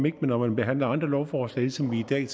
ikke når man behandler andre lovforslag ligesom vi i dag